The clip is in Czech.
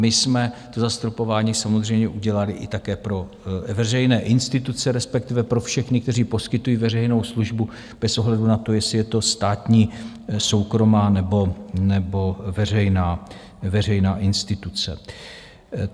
My jsme to zastropování samozřejmě udělali i také pro veřejné instituce, respektive pro všechny, kteří poskytují veřejnou službu, bez ohledu na to, jestli je to státní, soukromá nebo veřejná instituce.